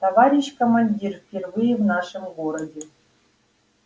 товарищ командир впервые в нашем городе